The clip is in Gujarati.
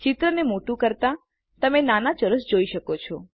ચિત્રને મોટું કરતા તમે નાના ચોરસો જોઈ શકો છો